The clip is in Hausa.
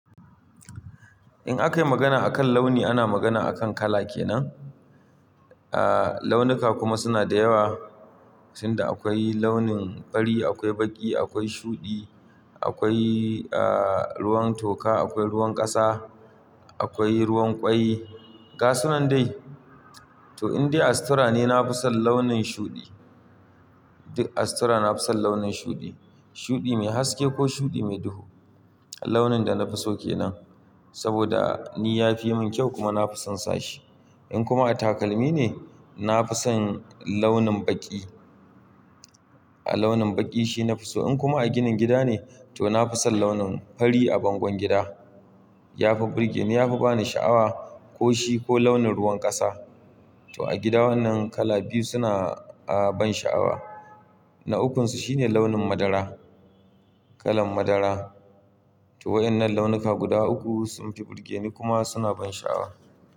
In aka yi magana a kan launi ana magana a kan kala kenan. A launuka kuma suna da yawa, sanda akwai launin fari, akwai baƙi, akwai shuɗi, akwai a ruwan toka, akwai ruwan ƙasa, akwai ruwan ƙwai. Ga sunan dai. To in dai a sutura ne, na fi son launin shuɗi. Duk a sutura na fi son launin shuɗi. Shuɗi mai haske ko shuɗi mai duhu. Launin da na fi so kenan. Saboda ni ya fi min kyau kuma na fi son sashi. In kuma a takalmi ne, na fi son launin baƙi. A launin baƙi shi na fi so. In kuma a ginin gida ne, to na fi son launin fari a bangon gida. Ya fi burge ni, ya fi ba ni sha'awa ko shi ko launin ruwan ƙasa. To a gida wannan kala biyu suna a ban sha'awa. Na ukunsu shine launin madara, kalan madara. To waɗannan launuka guda uku sun fi burge ni kuma suna ban sha'awa.